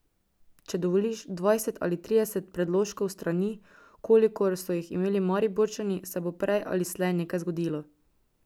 Če dovoliš dvajset ali trideset predložkov s strani, kolikor so jih imeli Mariborčani, se bo prej ali slej nekaj zgodilo.